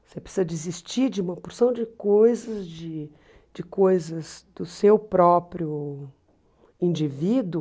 Você precisa desistir de uma porção de coisas, de de coisas do seu próprio indivíduo,